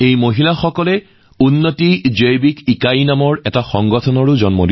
এই মহিলাসকলে মিলি উন্নতি বায়লজিকেল ইউনিট নামৰ এটা সংগঠন গঠন কৰিছে